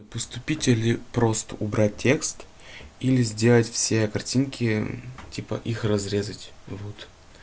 поступить или просто убрать текст или сделать все картинки типа их разрезать вот